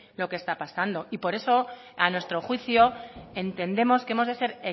lo que está pasando y por eso a nuestro juicio entendemos que hemos de ser